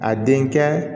A denkɛ